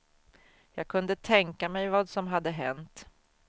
Jag kunde tänka mig vad som hade hänt.